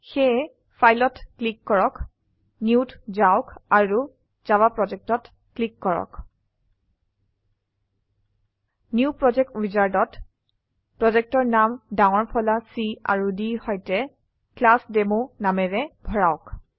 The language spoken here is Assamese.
সেয়ে Fileত ক্লীক কৰক নিউ ত যাওক আৰু জাভা Projectঅত ক্লীক কৰক নিউ প্ৰজেক্ট Wizardত প্ৰজেক্টেৰ নাম ডাঙৰ ফলা C আৰু D সৈতে ক্লাছডেমো নামেৰে ভৰাওক